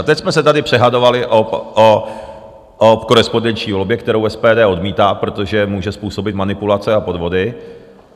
A teď jsme se tady dohadovali o korespondenční volbě, kterou SPD odmítá, protože může způsobit manipulace a podvody.